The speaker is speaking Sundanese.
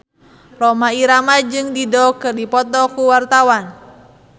Rhoma Irama jeung Dido keur dipoto ku wartawan